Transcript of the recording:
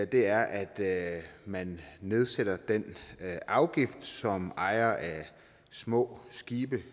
det er at man nedsætter den afgift som ejere af små skibe